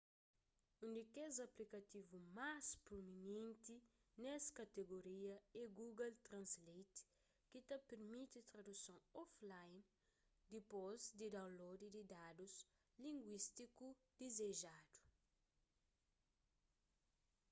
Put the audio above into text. un di kes aplikativu más proeminenti nes katigoria é google translate ki ta pirmiti traduson offline dipôs di download di dadus linguístiku dizejadu